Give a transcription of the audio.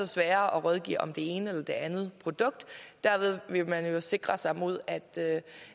sværere at rådgive om det ene eller det andet produkt derved vil man jo sikre sig imod at